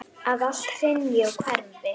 Að allt hrynji og hverfi.